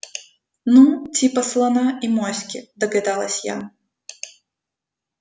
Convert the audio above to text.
ну типа слона и моськи догадалась я